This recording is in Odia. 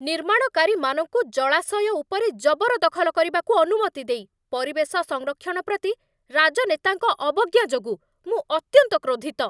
ନିର୍ମାଣକାରୀମାନଙ୍କୁ ଜଳାଶୟ ଉପରେ ଜବରଦଖଲ କରିବାକୁ ଅନୁମତି ଦେଇ ପରିବେଶ ସଂରକ୍ଷଣ ପ୍ରତି ରାଜନେତାଙ୍କ ଅବଜ୍ଞା ଯୋଗୁଁ ମୁଁ ଅତ୍ୟନ୍ତ କ୍ରୋଧିତ।